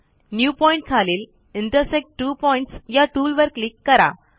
new point खालील intersect two objects या टूलवर क्लिक करा